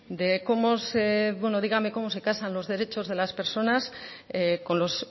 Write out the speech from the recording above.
de cómo se bueno dígame cómo se casan los derechos de las personas con los